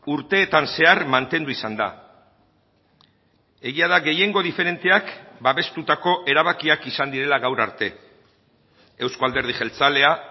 urteetan zehar mantendu izan da egia da gehiengo diferenteak babestutako erabakiak izan direla gaur arte euzko alderdi jeltzalea